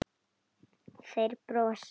Þeir brosa.